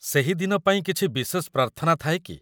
ସେହି ଦିନ ପାଇଁ କିଛି ବିଶେଷ ପ୍ରାର୍ଥନା ଥାଏ କି?